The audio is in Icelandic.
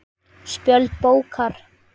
Spjöld bókar